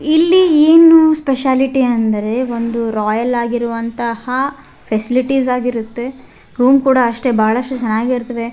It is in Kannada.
ಇಲ್ಲಿ ಏನು ಸ್ಪೆಷಾಲಿಟಿ ಅಂದ್ರೆ ಒಂದು ರಾಯಲ್ ಆಗಿರುವಂತಹ ಫೆಸಿಲಿಟೀಸ್ ಆಗಿರುತ್ತೆ ರೂಮ್ ಕೂಡ ಅಷ್ಟೇ ಬಹಳಷ್ಟು ಚೆನ್ನಾಗಿರ್ತವೆ.